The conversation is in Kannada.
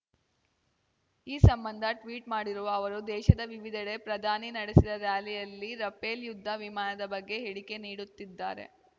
ಈ ಸಂಬಂಧ ಟ್ವೀಟ್ ಮಾಡಿರುವ ಅವರು ದೇಶದ ವಿವಿಧೆಡೆ ಪ್ರಧಾನಿ ನಡೆಸಿದ ಱ್ಯಾಲಿಯಲ್ಲಿ ರಫೇಲ್ ಯುದ್ಧ ವಿಮಾನದ ಬಗ್ಗೆ ಹೇಳಿಕೆ ನೀಡುತ್ತಿದ್ದಾರೆ